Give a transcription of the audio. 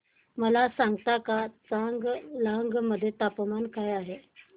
मला सांगता का चांगलांग मध्ये तापमान काय आहे